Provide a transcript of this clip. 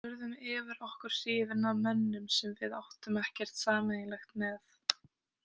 Urðum yfir okkur hrifnar af mönnum sem við áttum ekkert sameiginlegt með.